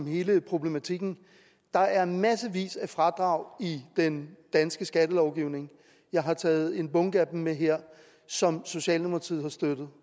hele problematikken der er massevis af fradrag i den danske skattelovgivning jeg har taget en bunke det med her som socialdemokratiet har støttet